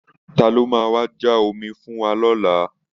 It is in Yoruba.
Ta ló máa wá já omi fún wa lọ́la